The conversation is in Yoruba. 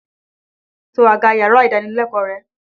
To àga yàrá-ìdánilẹ́kọ̀ọ́ rẹ!